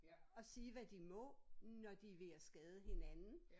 Og sige hvad de må når de ved at skade hinanden